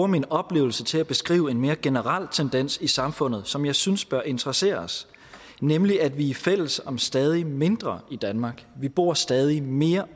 min oplevelse til at beskrive en mere generel tendens i samfundet som jeg synes bør interessere os nemlig at vi er fælles om stadig mindre i danmark vi bor stadig mere